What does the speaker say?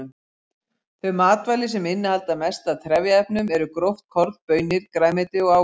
Þau matvæli sem innihalda mest af trefjaefnum eru gróft korn, baunir, grænmeti og ávextir.